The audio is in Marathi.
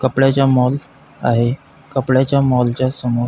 कपड्याचा मॉल आहे कपड्याच्या मॉल च्या समोर--